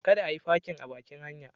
Kada a yi fakin a bakin bankin.